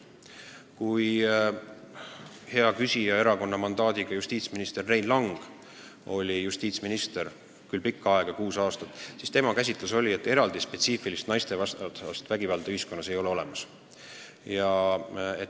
Kui hea küsija erakonna mandaadi saanud Rein Lang oli justiitsminister – pikka aega, kuus aastat –, siis tema käsitlus oli, et eraldi spetsiifilist naistevastast vägivalda ühiskonnas ei ole olemas.